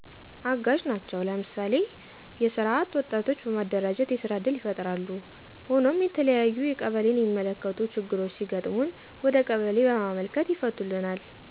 አጋዥ ነቸው ለምሳሌ፣ ለሰራ አጥ ወጣቶች በማደራጀት የስራ እድል ይፍጥራሉ። ሆኖም የተለያዩ ቀበሌን የሚመለከት ችግሮች ሲገጥሞን ወደ ቀበሌ በማመልከት ይፍቶልናል